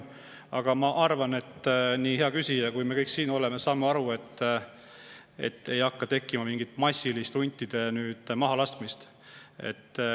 Aga ma arvan, et nii hea küsija kui me kõik siin saame aru, et ei teki mingit massilist huntide mahalaskmist.